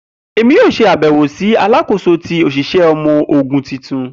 Emi yoo ṣe abẹwo si Alakoso ti oṣiṣẹ ọmọ ogun tuntun.